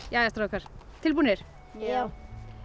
jæja strákar tilbúnir já